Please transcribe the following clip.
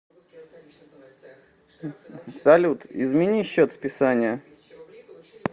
салют измени счет списания